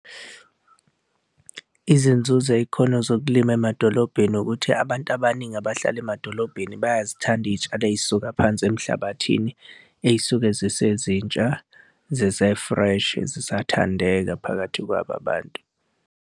Izinzuzo ey'khona zokulima emadolobheni ukuthi abantu abaningi abahlala emadolobheni bayazithanda iy'tshalo ey'suka phansi emhlabathini ey'suke zisezintsha zise-fresh zisathandeka phakathi kwabo abantu.